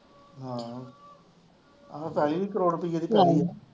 ਹਾਂ ਆਹੋ ਪੈਲੀ ਵੀ ਕਰੋੜ ਰੁਪਈਏ ਦੀ ਪੈਲੀ ਹੈ।